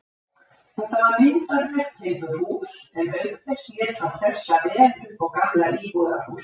Þetta var myndarlegt timburhús, en auk þess lét hann hressa vel upp á gamla íbúðarhúsið.